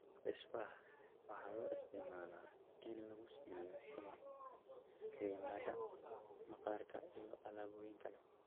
Beeswax waxaa loo isticmaalaa in lagu sameeyo shumac, kiriimyada maqaarka, iyo alaabooyin kale.